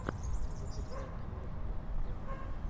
запускай нам ливерпуль лестер